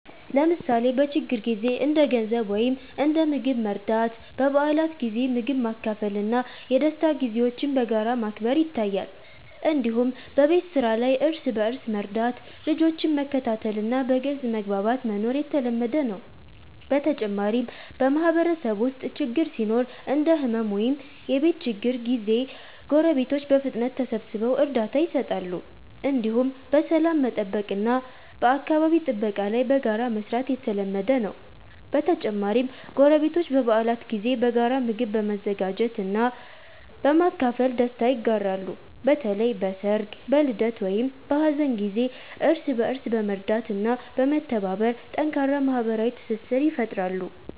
ለምሳሌ በችግር ጊዜ እንደ ገንዘብ ወይም እንደ ምግብ መርዳት፣ በበዓላት ጊዜ ምግብ ማካፈል እና የደስታ ጊዜዎችን በጋራ ማክበር ይታያል። እንዲሁም በቤት ስራ ላይ እርስ በእርስ መርዳት፣ ልጆችን መከታተል እና በግልጽ መግባባት መኖር የተለመደ ነው። በተጨማሪም በማህበረሰብ ውስጥ ችግር ሲኖር እንደ ሕመም ወይም የቤት ችግር ጊዜ ጎረቤቶች በፍጥነት ተሰብስበው እርዳታ ይሰጣሉ። እንዲሁም በሰላም መጠበቅ እና በአካባቢ ጥበቃ ላይ በጋራ መስራት የተለመደ ነው። በተጨማሪም ጎረቤቶች በበዓላት ጊዜ በጋራ ምግብ በመዘጋጀት እና በማካፈል ደስታ ይጋራሉ። በተለይ በሰርግ፣ በልደት ወይም በሀዘን ጊዜ እርስ በእርስ በመርዳት እና በመተባበር ጠንካራ ማህበራዊ ትስስር ይፈጥራሉ።